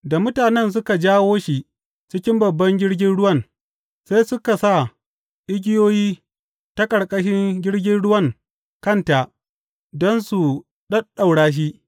Da mutanen suka jawo shi cikin babban jirgin ruwan, sai suka sa igiyoyi ta ƙarƙashin jirgin ruwan kanta don su ɗaɗɗaura shi.